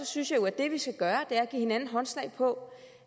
synes jeg jo at det vi skal gøre er at give hinanden håndslag på